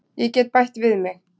Ég get bætt við mig.